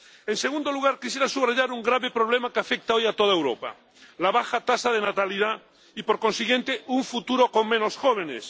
En segundo lugar, quisiera subrayar un grave problema que afecta hoy a toda Europa la baja tasa de natalidad y, por consiguiente, un futuro con menos jóvenes.